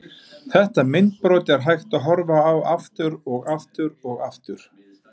Þetta myndbrot er hægt að horfa á aftur og aftur og aftur.